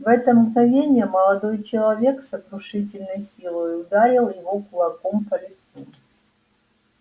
в это мгновение молодой человек с сокрушительной силой ударил его кулаком по лицу